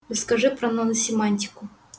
расскажи про наносемантику